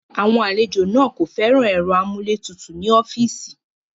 Àwọn àlejò náà kò fẹ́ràn ẹ̀rọ amúlétutù ní ọ́fíìsì.